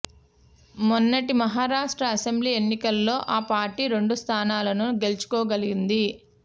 మొన్నటి మహారాష్ట్ర అసెంబ్లీ ఎన్నికల్లో ఆ పార్టీ రెండు స్థానాలను గెలుచుకోగలింది